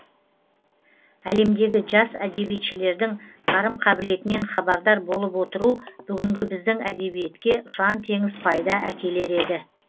әлемдегі жас әдебиетшілердің қарым қабылетінен хабардар болып отыру бүгінгі біздің әдебиетке ұшан теңіз пайда әкелер еді